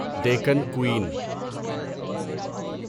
Deccan Queen